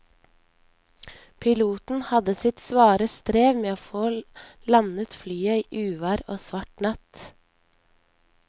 Piloten hadde sitt svare strev med å få landet flyet i uvær og svart natt.